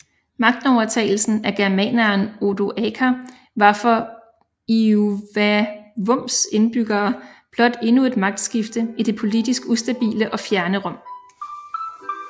Magtovertagelsen af germaneren Odoaker var for Iuvavums indbyggere blot endnu et magtskifte i det politisk ustabile og fjerne Rom